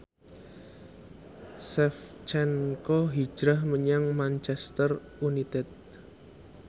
Shevchenko hijrah menyang Manchester united